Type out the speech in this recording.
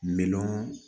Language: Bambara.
Milɔn